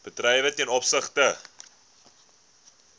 bedrywe ten opsigte